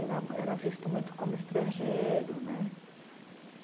Era, era visto muito como estrangeiro né.